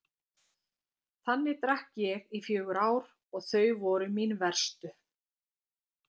Þannig drakk ég í fjögur ár og þau voru mín verstu.